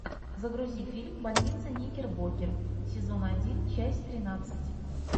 загрузи фильм больница никербокер сезон один часть тринадцать